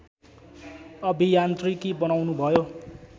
अभियान्त्रिकी बनाउनुभयो